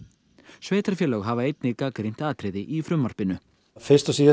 sveitarfélög hafa einnig gagnrýnt atriði í frumvarpinu fyrst og síðast